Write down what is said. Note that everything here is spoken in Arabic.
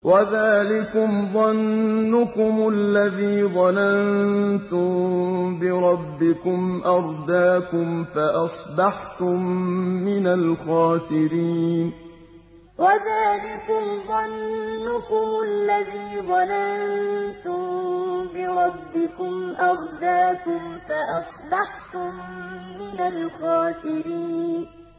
وَذَٰلِكُمْ ظَنُّكُمُ الَّذِي ظَنَنتُم بِرَبِّكُمْ أَرْدَاكُمْ فَأَصْبَحْتُم مِّنَ الْخَاسِرِينَ وَذَٰلِكُمْ ظَنُّكُمُ الَّذِي ظَنَنتُم بِرَبِّكُمْ أَرْدَاكُمْ فَأَصْبَحْتُم مِّنَ الْخَاسِرِينَ